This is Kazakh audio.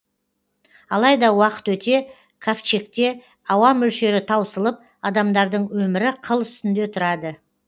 алайда уақыт өте кавчегте ауа мөлшері таусылып адамдардың өмірі қыл үстінде тұрады